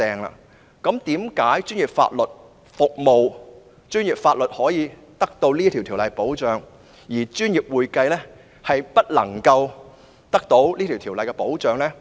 為何專業法律獲《法律執業者條例》保障，但專業會計卻未獲《專業會計師條例》保障？